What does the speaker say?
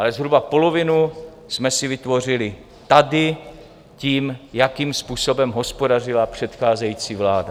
Ale zhruba polovinu jsme si vytvořili tady tím, jakým způsobem hospodařila předcházející vláda.